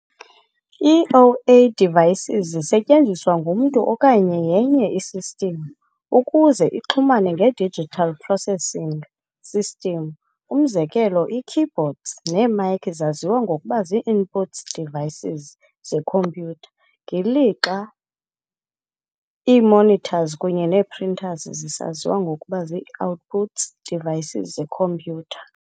Ii-O - A devices zisetyenziswa ngumntu, okanye yenye i-system, ukuze ixhumane nge-digital processing system. Umzekelo, ii-keyboards nee-mice zaziwa ngokuba zii-input devices zekhompyutha, ngeli lixa ii-monitors kunye nee-printers zisaziwa ngokuba zii-output devices zekhompyutha.